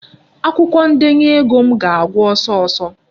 Akwụkwọ ndenye ego m ga-agwụ ọsọ ọsọ.